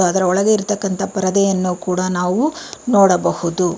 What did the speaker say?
ಅದರ ಒಳಗೆ ಇರತಕ್ಕಂತಹ ಪರದೆಯನ್ನು ಕೂಡ ನಾವು ನೋಡಬಹುದು.